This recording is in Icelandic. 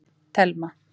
Telma